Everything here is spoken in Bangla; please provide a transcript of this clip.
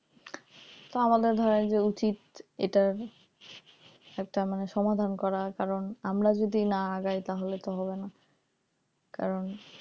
তো আমাদের ধরেন যে উচিত এটা একটা মানে সমাধান করার কারণ আমরা যদি না আগাই তাহলে তো হবে না কারণ